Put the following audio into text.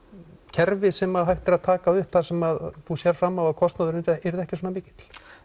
kerfi sem hægt er að taka upp þar sem þú sérð fram á að kostnaður yrði ekki svona mikill